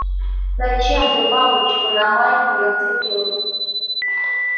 зачем ты бабочку на майку нацепил